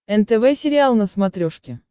нтв сериал на смотрешке